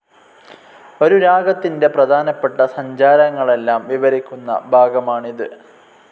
ഒരു രാഗത്തിൻ്റെ പ്രധാനപ്പെട്ട സഞ്ചാരങ്ങളെല്ലാം വിവരിക്കുന്ന ഭാഗമാണിതു്..